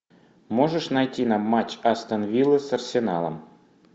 можешь найти нам матч астон вилла с арсеналом